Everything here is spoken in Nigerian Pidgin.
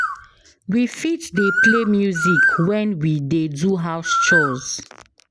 We fit dey play music when we dey do house chores